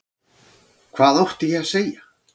Hvað átti ég að segja?